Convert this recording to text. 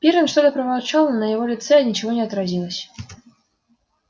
пиренн что-то проворчал но на его лице ничего не отразилось